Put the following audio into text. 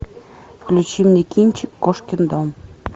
включи мне кинчик кошкин дом